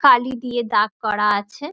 কালী দিয়ে দাগ করা আছে ।